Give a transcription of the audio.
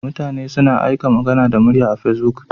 Mutane suna aika magana da murya Facebook.